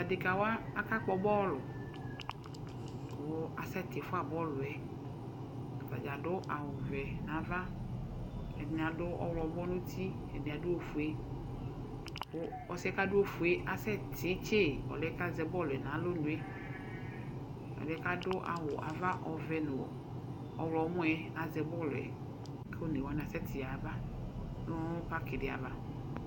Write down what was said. Adekawa aka kpɔ bɔl kʋ asɛtifua bɔlʋ yɛ, atadzaa adʋ awʋ vɛ n'ava, ɛdɩnɩ adʋ ɔɣlɔwʋ nʋ uti, ɛdɩnɩ adʋ ofue, kʋ ɔsɩ yɛ kadʋ ofue asɛtitse ɔlʋ yɛ kazɛ bɔlʋ yɛ n'alɔnu yɛ Ɛdɩ yɛ kadʋ awʋ ava ɔvɛ nʋ ɔɣlɔmɔ yɛ azɛ bɔlʋ yɛ kʋ onewani asɛtiaba nʋ parkɩ ɖɩ ava